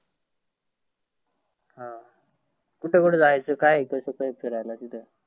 हा कुठ कुठ जायचं काय हे कसं काय आहे फिरायला तिथं?